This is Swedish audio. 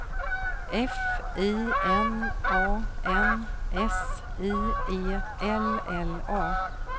F I N A N S I E L L A